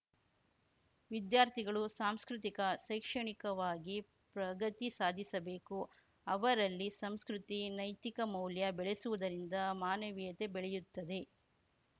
ವಿದ್ಯಾರ್ಥಿಗಳು ಸಾಂಸ್ಕೃತಿಕ ಶೈಕ್ಷಣಿಕವಾಗಿ ಪ್ರಗತಿ ಸಾಧಿಸಬೇಕು ಅವರಲ್ಲಿ ಸಂಸ್ಕೃತಿ ನೈತಿಕಮೌಲ್ಯ ಬೆಳೆಸುವುದರಿಂದ ಮಾನವೀಯತೆ ಬೆಳೆಯುತ್ತದೆ